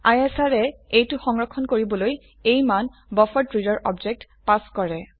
ISR য়ে এইটো সংৰক্ষণ কৰিবলৈ এই মান বাফাৰেড্ৰেডাৰ অবজেক্ট পাস কৰে